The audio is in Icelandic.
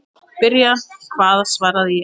Byrja hvað svaraði ég.